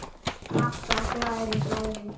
Alltaf glaður í bragði.